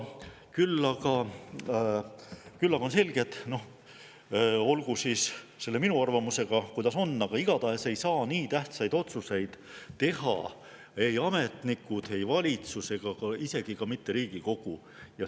Küll aga on selge – olgu minu arvamusega kuidas on –, et igatahes ei saa nii tähtsaid otsuseid teha ei ametnikud, ei valitsus ega isegi mitte Riigikogu.